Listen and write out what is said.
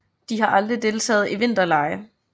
De har aldrig deltaget i vinterlege